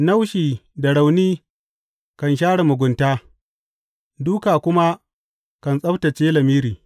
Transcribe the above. Naushi da rauni kan share mugunta, dūka kuma kan tsabtacce lamiri.